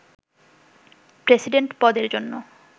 president পদের জন্য